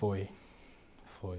Foi, foi.